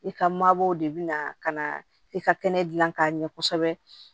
I ka mabɔw de bina ka na i ka kɛnɛ dilan k'a ɲɛ kosɛbɛ